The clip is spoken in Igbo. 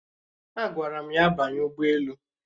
Agwara m ya banye ugboelu